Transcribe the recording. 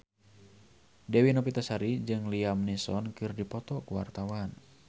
Dewi Novitasari jeung Liam Neeson keur dipoto ku wartawan